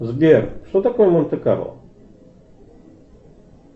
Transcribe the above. сбер что такое монте карло